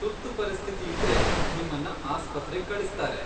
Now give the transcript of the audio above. ತುರ್ತು ಪರಿಸ್ಥಿತಿ ಇದ್ರೆ ನಿಮ್ಮನ್ನ ಆಸ್ಪತ್ರೆಗ್ ಕಳಿಸ್ತಾರೆ.